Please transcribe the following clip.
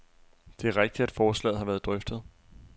Det er rigtigt, at forslaget har været drøftet.